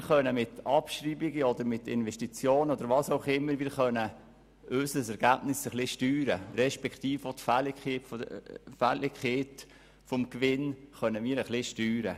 Wir können unser Ergebnis respektive die Fälligkeit unseres Gewinns mit Abschreibungen, Investitionen und so weiter etwas steuern.